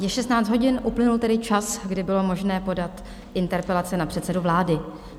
Je 16 hodin, uplynul tedy čas, kdy bylo možné podat interpelace na předsedu vlády.